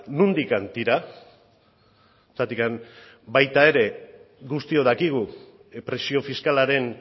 nondik tira zergatik baita ere guztiok dakigu presio fiskalaren